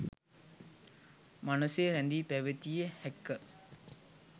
මනසේ රැඳී පැවතිය හැක.